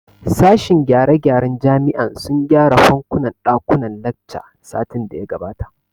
Sashen gyare gyaren jami'an sun gyare fankunan ɗakunnan lacca satin da ya gabata